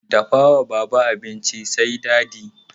Dafa ma baba abinci mai dadi!